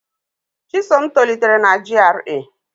Chisom tolitere na GRA.